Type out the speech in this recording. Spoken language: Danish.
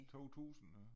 2000 øh